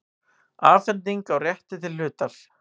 Afhending á rétti til hlutar.